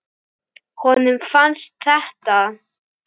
Honum fannst þetta.